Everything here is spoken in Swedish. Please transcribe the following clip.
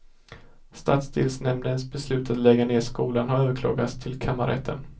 Stadsdelsnämndens beslut att lägga ned skolan har överklagats till kammarrätten.